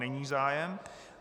Není zájem.